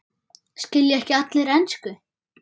Skilja ekki allir ensku?